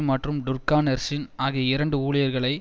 மற்றும் Durkan Ersin ஆகிய இரண்டு ஊழியர்களை